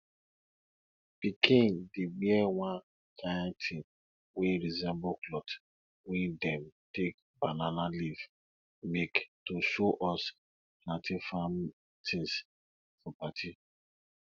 pickin dey wear one kind thing wey resemble cloth wey dem take banana leaf make to show us plantain farm tins for party